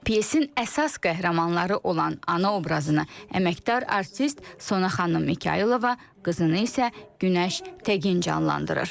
Pyasin əsas qəhrəmanları olan ana obrazını əməkdar artist Sona xanım Mikayılova, qızını isə Günəş Təgin canlandırır.